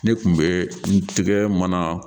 Ne kun bɛ n tigɛ mana